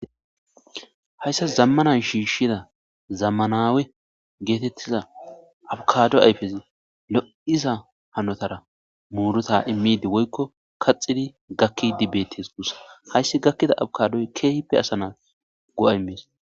hayssa zammana shiishshida zammanawe geetettiza abukado ayfezi lo7iza hanotara muuruta immidi woykko kaxidi gakki betes guussa hayssi gakkida abkadoy keehppe asanas go7amis